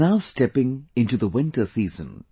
We are now stepping into the winter season